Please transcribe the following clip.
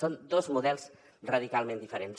són dos models radicalment diferents